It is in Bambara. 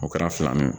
O kɛra filanan ye